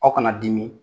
Aw kana dimi